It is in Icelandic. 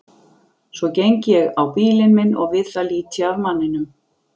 Svo geng ég á bílinn minn og við það lít ég af manninum.